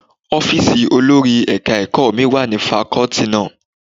Ọ́fíìsì olórí ẹ̀ka ẹ̀kọ́ mi wà ní fakọ́tì náà.